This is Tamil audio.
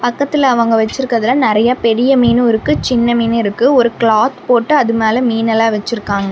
பக்கத்துல அவங்க வச்சிருக்கிறல நறைய பெரிய மீனு இருக்கு சின்ன மீனு இருக்கு ஒரு கிளாத் போட்டு அது மேல மீன் எல்லா வச்சிருக்காங்க.